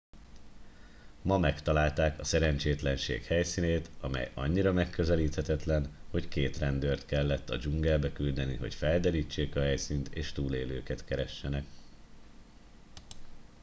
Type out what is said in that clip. ma megtalálták a szerencsétlenség helyszínét amely annyira megközelíthetetlen hogy két rendőrt kellett a dzsungelbe küldeni hogy felderítsék a helyszínt és túlélőket keressenek